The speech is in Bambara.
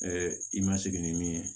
i ma sigi ni min ye